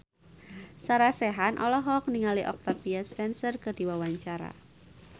Sarah Sechan olohok ningali Octavia Spencer keur diwawancara